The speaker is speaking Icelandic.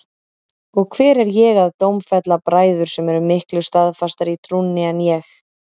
Og hver er ég að dómfella bræður sem eru miklu staðfastari í trúnni en ég?